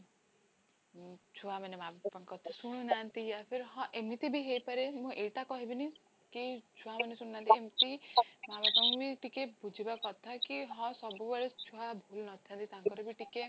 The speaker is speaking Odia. ହୁଁ ଛୁଆମାନେ ମାଁଙ୍କ କଥା ଶୁଣୁ ନାହାନ୍ତି ହଁ ଏମିତିବି ହେଇ ପରେ ମୁଁ ଏଇଟା କହିବିନି କି ଛୁଆମାନେ ଶୁଣୁ ନାହାନ୍ତି ଏମତି ମାଁ ବାପାଙ୍କୁବି ଟିକେ ବୁଝିବା କଥା କି ହଁ ସବୁବେଳେ ଛୁଆ ଭୁଲ ନଥାନ୍ତି ତାଙ୍କରବି ଟିକେ